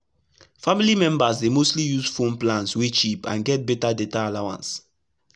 family members dey mostly use phone plans wey cheap and get better data allowance.